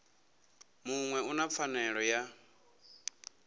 muṅwe u na pfanelo ya